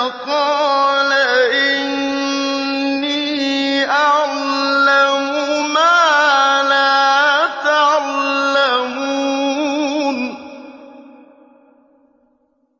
ۖ قَالَ إِنِّي أَعْلَمُ مَا لَا تَعْلَمُونَ